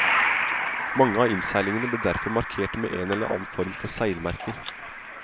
Mange av innseilingene ble derfor markert med en eller annen form for seilmerker.